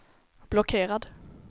blockerad